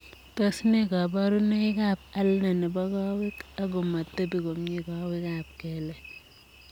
Tos nee kabarunoik ap Ulnar nepo kowek ak komatepii komie kowek ap keleek